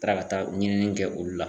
Taara ka taa ɲinini kɛ olu la.